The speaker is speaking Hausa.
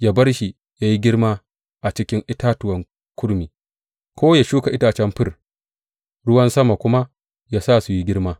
Yă bar shi yă yi girma a cikin itatuwan kurmi, ko yă shuka itacen fir, ruwan sama kuma yă sa yă yi girma.